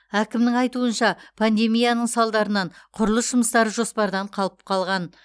әкімнің айтуынша пандемияның салдарынан құрылыс жұмыстары жоспардан қалып қалған